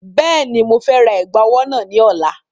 Bẹ́ẹ̀ni, mo fẹ́ ra ẹ̀gbà ọwọ́ náà ní ọ̀la.